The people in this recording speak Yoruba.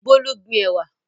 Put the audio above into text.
Bolu gbin ẹ̀wà.